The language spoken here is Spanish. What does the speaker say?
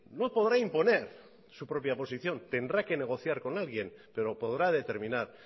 no podrá imponer su propia posición tendrá que negociar con alguien pero podrá determinar